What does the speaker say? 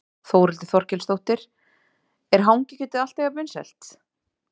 Þórhildur Þorkelsdóttir: Er hangikjötið alltaf jafn vinsælt?